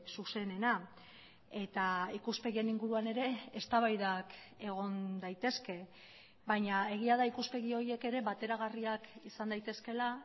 zuzenena eta ikuspegien inguruan ere eztabaidak egon daitezke baina egia da ikuspegi horiek ere bateragarriak izan daitezkeela